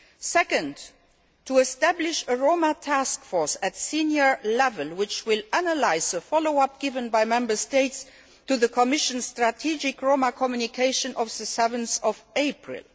Secondly, we will establish a Roma task force at senior level which will analyse the follow up given by Member States to the Commission's strategic Roma communication of 7 April.